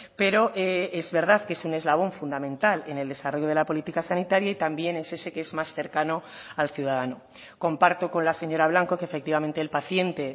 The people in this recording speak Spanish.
pero es verdad que es un eslabón fundamental en el desarrollo de la política sanitaria y también es ese que es más cercano al ciudadano comparto con la señora blanco que efectivamente el paciente